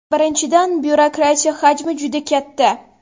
Birinchidan, byurokratiya hajmi juda katta.